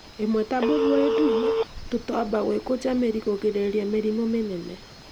imwe ta bũĩbũĩ ndune, tũtomba, gũĩkũnja mĩri; kũrigĩrĩria mĩrimũ mĩrimũ mũnene